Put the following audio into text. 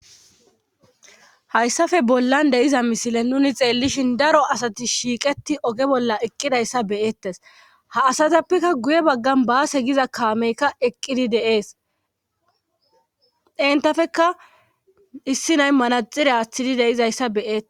Hayssafe bollan deyiza misile nuni xeellishin daro asati shiiqeti oge bolla eqqidayssa beyeettes ha asatappekka guye baggan baase giza kaameykka eqqidi deees entafeka issi nay manaxire aththidi deizayssa beyette